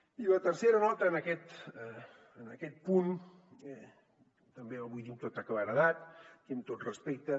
i la tercera nota en aquest punt també la vull dir amb tota claredat i amb tot respecte